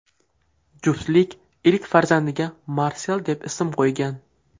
Juftlik ilk farzandiga Marsel deb ism qo‘ygan.